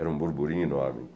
Era um burburinho enorme.